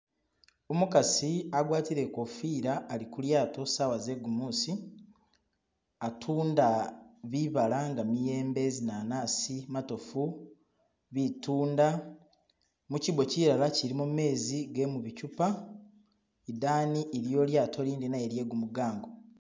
Umukasi agwatire inkofira ali kulyato saawa ze gumusi atunda bibala nga miyembe, zinanasi, matofu, bitunda mukyibbo kilara ilimo gamenzi gemuchupa, idani iliyo ilyato lindi nalyo lyegumugango